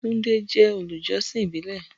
Tunde je olujosin ibile.